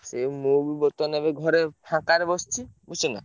ଏ ମୁଁ ବି ବର୍ତ୍ତମାନ ଏବେ ଘରେ ଫାଙ୍କାରେ ବସଚି ବୁଝୁଛନା।